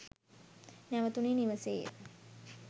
නැවතුනේ නිවසේය.